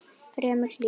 Fremur hlýtt.